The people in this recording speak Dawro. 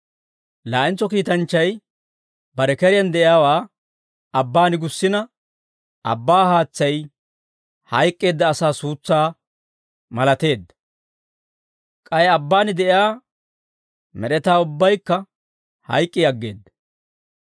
Laa'entso kiitanchchay bare keriyaan de'iyaawaa abbaan gussina abbaa haatsay hayk'k'eedda asaa suutsaa malateedda. K'ay abbaan de'iyaa med'etaa ubbaykka hayk'k'i aggeedda.